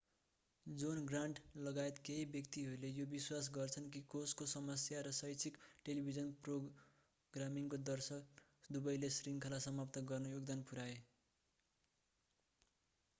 John Grant लगायत केही व्यक्तिहरूले यो विश्वास गर्छन् कि कोषको समस्या र शैक्षिक टेलिभिजन प्रोग्रामिङको दर्शन दुवैले श्रृङ्खला समाप्त गर्न योगदान पुर्‍याए।